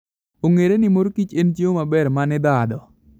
Ong'ere ni mor kich en chiemo maber manidhadho.